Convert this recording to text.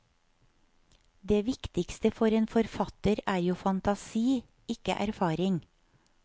Det viktigste for en forfatter er jo fantasi, ikke erfaring.